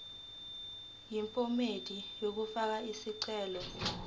yephomedi yokufaka isicelo